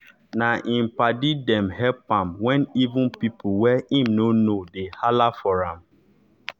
na im padi dem help am wen even pipo wey im nor know dey hala for am